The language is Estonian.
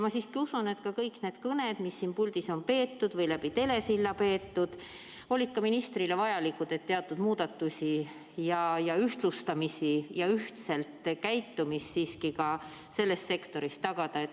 Ma siiski usun, et ka kõik need kõned, mis siin puldis on peetud või läbi telesilla peetud, olid ka ministrile vajalikud, et teatud muudatusi ja ühtlustamisi ja ühtselt käitumist siiski ka selles sektoris tagada.